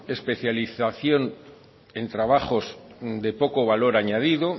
especialización en trabajos de poco valor añadido